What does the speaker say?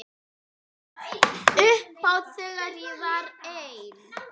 Upphátt þegar ég var ein.